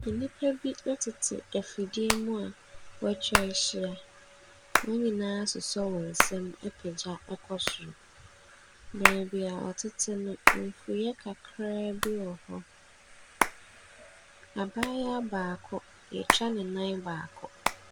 Nnipa bi tete afidie mu a wɔata wahyia. Wɔn nyinaa asosɔ wɔn nsam apagya kɔ soro. Baabi a wɔtete no mfuiɛ kakraa bi wɔ hɔ. Abaayewa baako, wɔata ne nan baako.